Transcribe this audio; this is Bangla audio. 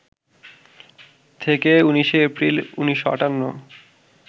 থেকে ১৯শে এপ্রিল, ১৯৫৮